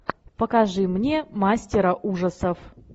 покажи мне мастера ужасов